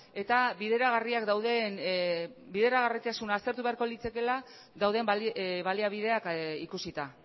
eta bideragarriak dauden bideragarritasuna aztertu beharko litzakeela dauden baliabideak ikusita